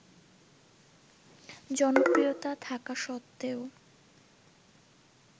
জনপ্রিয়তা থাকা সত্ত্বেও